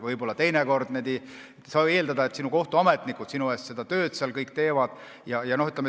Võib-olla ei saa eeldada, et kohtuametnikud sinu eest töö ära teevad.